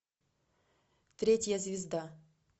третья звезда